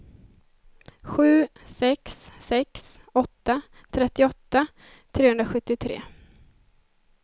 sju sex sex åtta trettioåtta trehundrasjuttiotre